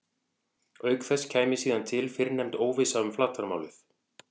Auk þess kæmi síðan til fyrrnefnd óvissa um flatarmálið.